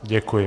Děkuji.